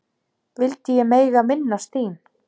vildi ég mega minnast þín.